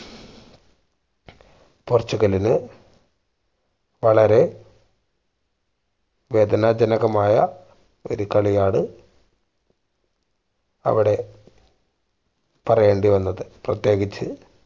പോർച്ചുഗലിന് വളരെ വേദനാജനകമായ ഒരു കളിയാണ് അവിടെ പറയേണ്ടി വന്നത് പ്രതേകിച്ച്